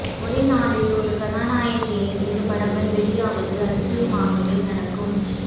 ஒரே நாளில் ஒரு கதாநாயகனின் இரு படங்கள் வெளியாவது அதிசயமாகவே நடக்கும்